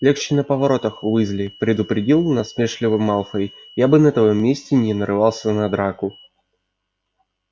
легче на поворотах уизли предупредил насмешливо малфой я бы на твоём месте не нарывался на драку